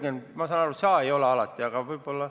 Jürgen, ma saan aru, et sina ei ole alati, aga võib-olla ...